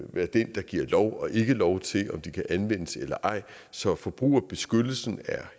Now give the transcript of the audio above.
være den der giver lov og ikke giver lov til om de kan anvendes eller ej så forbrugerbeskyttelsen er